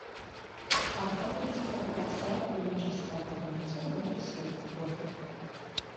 архангельская городская клиническая больница номер семь фото